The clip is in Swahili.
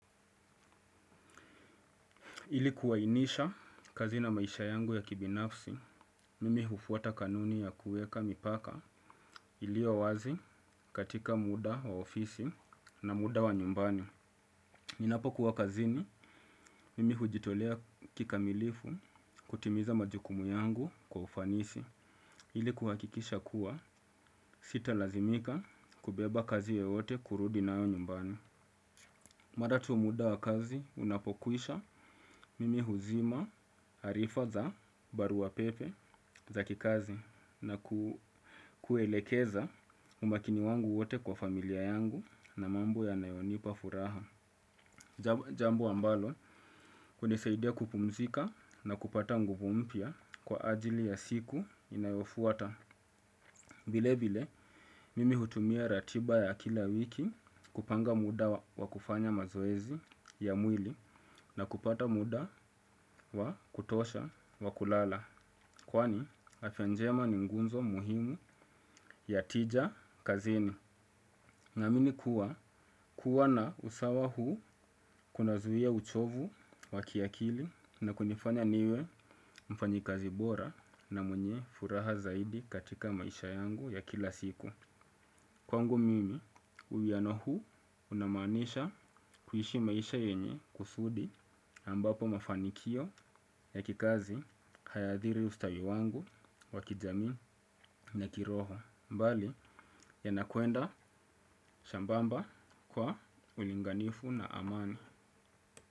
Ili kuainisha kazi na maisha yangu ya kibinafsi, mimi hufuata kanuni ya kuweka mipaka iliyo wazi katika muda wa ofisi na muda wa nyumbani. Ninapokuwa kazini, mimi hujitolea kikamilifu kutimiza majukumu yangu kwa ufanisi. Ili kuhakikisha kuwa, sitalazimika kubeba kazi yoyote kurudi nayo nyumbani. Mara tu muda wa kazi, unapokwisha mimi huzima arifa za barua pepe za kikazi na kuelekeza umakini wangu wote kwa familia yangu na mambo yanayonipa furaha. Jambo ambalo, hunisaidia kupumzika na kupata nguvu mpya kwa ajili ya siku inayofuata. Vile vile, mimi hutumia ratiba ya kila wiki kupanga muda wa kufanya mazoezi ya mwili na kupata muda wa kutosha wa kulala. Kwani, afya njema ni nguzo muhimu ya tija kazini. Naamini kuwa, kuwa na usawa huu kunazuia uchovu wa kiakili na kunifanya niwe mfanyikazi bora na mwenye furaha zaidi katika maisha yangu ya kila siku. Kwangu mimi uwiano huu unamaanisha kuishi maisha yenye kusudi ambapo mafanikio ya kikazi hayaadhiri ustawi wangu wa kijamii na kiroho. Bali yanakwenda sambamba kwa ulinganifu na amani.